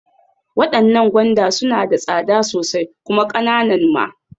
Waɗannan gwanda suna da tsada sosai kuma ƙananan ma.